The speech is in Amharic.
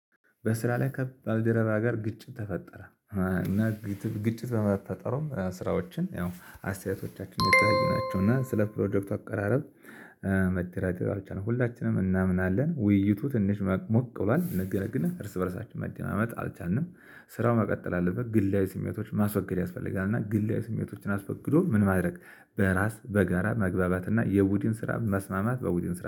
በስራ ላይ ከባልደረባ ጋር ግጭት ተፈጠረ። እና ግጭት በመፈጠሩም ስራዎችን ያው አስተያየቶቻችን የተያየናቸው እና ስለ ፕሮጀክቱ አቀራረብ መደራደሪያዎች ነው ሁላችንም እናምናለን ውይይቱ ትንሽ ሞቅ ብሏል ነገር ግን እርስ በእርሳችን መደናመጥ አልቻልንም። ስራው መቀጠል አለበት ግላዊ ስሜቶች ማስወገድ ያስፈልጋል። እና ግላዊ ስሜቶችን አስፈግዶ ምን ማድረግ በራስ በጋራ መግባባት እና የቡድን ስራ መስማማት በውድን ስራ